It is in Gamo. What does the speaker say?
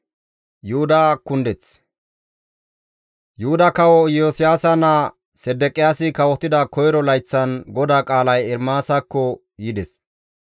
Yuhuda kawo Iyosiyaasa naa Sedeqiyaasi kawotida koyro layththan GODAA qaalay Ermaasakko yides.